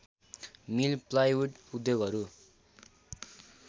मिल plywood उद्योगहरू